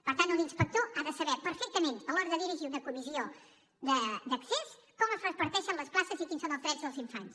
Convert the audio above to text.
per tant un inspector ha de saber perfectament a l’hora de dirigir una comissió d’accés com es reparteixen les places i quins són els drets dels infants